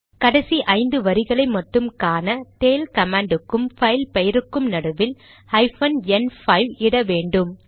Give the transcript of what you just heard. கடைசி ஐந்து வரிகளை மட்டும் காண டெய்ல் கமாண்ட் க்கும் பைல் பெயருக்கும் நடுவில் ஹைபன் என் 5 இட வேண்டும்